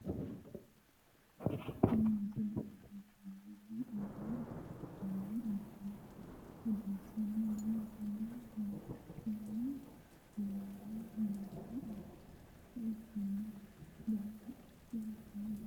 Tini misile leellishshannohu odoo ikkitanna, odoo odeessanni noohuno muluqeni birihaanu yinanni odeessaancho ikkanna, barra ikke hosino